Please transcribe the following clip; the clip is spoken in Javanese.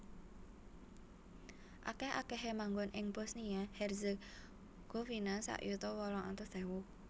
Akèh akèhé manggon ing Bosnia Herzegovina sak yuta wolung atus ewu